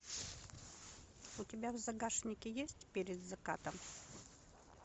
у тебя в загашнике есть перед закатом